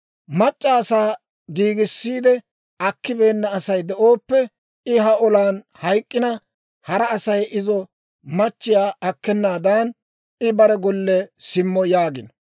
Mac'c'a asaa giigissiide akkibeenna Asay de'ooppe, I ha olan hayk'k'ina, hara Asay izo machchiyaa akkenaadan, I bare golle simmo› yaagino.